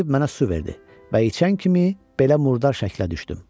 Gətirib mənə su verdi və içən kimi belə murdar şəklə düşdüm.